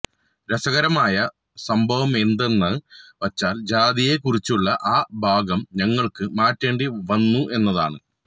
രസകരമായ സംഭവമെന്താണെന്ന് വച്ചാല് ജാതിയെക്കുറിച്ചുള്ള ആ ഭാഗം ഞങ്ങള്ക്ക് മാറ്റേണ്ടി വന്നു എന്നതാണ്